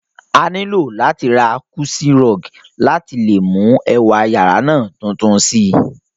A nilo láti ra cozy rug láìpẹ́ láti le mú ẹwà yàrá náà tuntun si